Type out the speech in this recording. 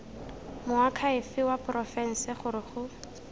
moakhaefe wa porofense gore go